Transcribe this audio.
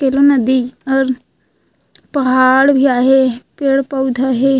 केलो नदी और पहाड़ भी आहे पेड़-पौधा हे।